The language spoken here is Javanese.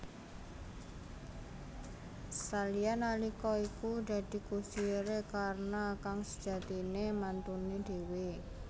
Salya nalika iku dadi kusiré Karna kang sejatiné mantuné dhéwé